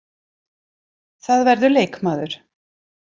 Það verður leikmaður.